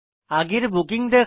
আগের বুকিং দেখা